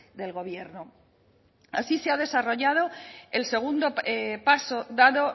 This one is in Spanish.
del gobierno así se ha desarrollado el segundo paso dado